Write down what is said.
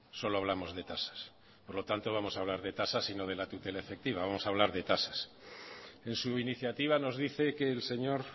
solo hablamos de tasas por lo tanto vamos a hablar de tasas y no de la tutela efectiva vamos a hablar de tasas en su iniciativa nos dice que el señor